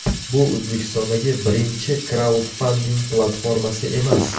Bu O‘zbekistondagi birinchi kraudfanding platformasi emas.